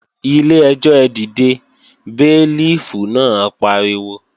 Ilé-ẹjọ́ ẹ dìde, béélífù náà pariwo!